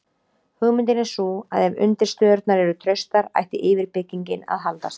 hugmyndin er sú að ef undirstöðurnar eru traustar ætti yfirbyggingin að haldast